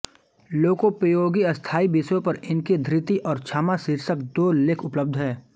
लोकोपयोगी स्थायी विषयों पर इनके धृति और क्षमा शीर्षक दो लेख उपलब्ध हैं